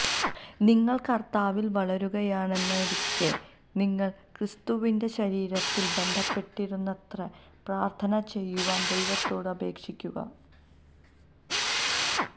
നിങ്ങൾ കർത്താവിൽ വളരുകയാണെന്നിരിക്കെ നിങ്ങൾ ക്രിസ്തുവിന്റെ ശരീരത്തിൽ ബന്ധപ്പെടുന്നിടത്തുപ്രാർത്ഥന ചെയ്യുവാൻ ദൈവത്തോട് അപേക്ഷിക്കുക